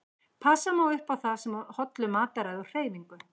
Passa má upp á það með hollu mataræði og hreyfingu.